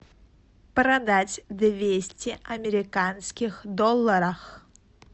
продать двести американских долларов